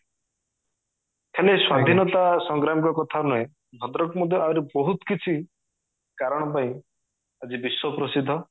ଖାଲି ସ୍ଵାଧୀନତା ସଂଗ୍ରାମ ର କଥା ନୁହେଁ ଭଦ୍ରକ ମଧ୍ୟ ଆହୁରି ବୋହୁତ କିଛି କାରଣ ପାଇଁ ଆଜି ବିଶ୍ଵ ପ୍ରସିଦ୍ଧ